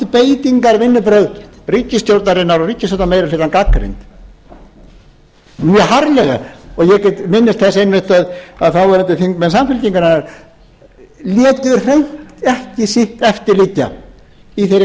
þessi valdbeitingarvinnubrögð ríkisstjórnarinnar og ríkisstjórnarmeirihlutans gagnrýnd mjög harðlega ég minnist þess einmitt að þáverandi þingmenn samfylkingarinnar létu hreint ekki sitt eftir liggja í þeirri